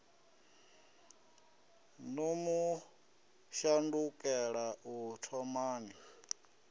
no mu shandukela u thomani